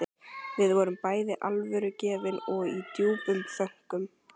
Við vorum bæði alvörugefin og í djúpum þönkum.